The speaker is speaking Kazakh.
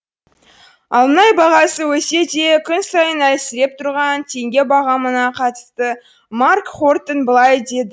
ал мұнай бағасы өссе де күн сайын әлсіреп тұрған теңге бағамына қатысты марк хортон былай деді